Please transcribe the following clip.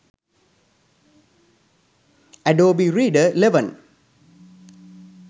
adobe reader 11